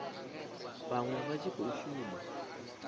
vhaṅwe vha tshi khou shuma